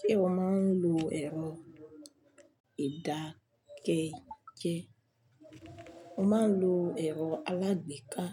Ṣé o máa ń lo ẹ̀rọ ìdákẹ́jẹ́? Mo máa ń lo ẹ̀rọ alágbèéká,